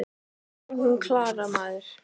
Nú, hún Klara, maður!